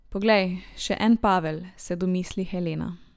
Poglej, še en Pavel, se domisli Helena.